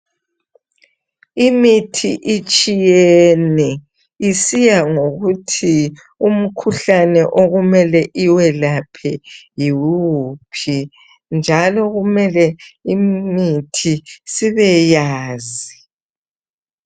Imithi itshiyene isiyangokuthi umkhuhlane okumele iwelaphe yiwuphi njalo kumele imithi sibeyazi